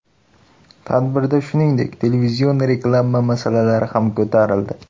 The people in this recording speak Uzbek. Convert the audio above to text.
Tadbirda, shuningdek, televizion reklama masalasi ham ko‘tarildi.